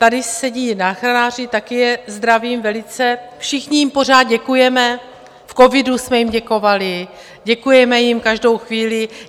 Tady sedí záchranáři, také je zdravím velice, všichni jim pořád děkujeme, v covidu jsme jim děkovali, děkujeme jim každou chvíli.